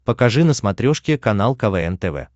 покажи на смотрешке канал квн тв